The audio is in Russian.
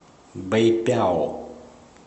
бэйпяо